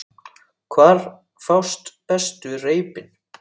Hvar fást bestu reipin?